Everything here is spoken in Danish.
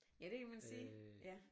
Ja det kan man sige ja